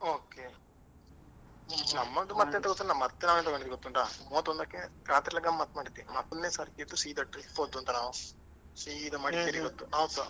Okay ನಮ್ಮದು ಮತ್ತೆಂತ ಗೊತ್ತುಂಟ ಮತ್ತೆ ನಾವು ಎಂತ ಮಾಡಿದ್ದು ಗೊತ್ತುಂಟಾ ಮೂವತ್ತೊಂದಕ್ಕೆ ರಾತ್ರೆ ಎಲ್ಲ ಗಮ್ಮತ್ ಮಾಡಿದ್ದು ಮೊದಲ್ನೇ ಸರ್ತಿ ಎಲ್ಲ ಎದ್ದು ಸೀದಾ trip ಹೋದ್ದು ಅಂತ ನಾವ್ ಮಾಡಿ ಸೀದಾ Madikeri ಗೆ ಅವತ್ತು ನಾವ್ಸ.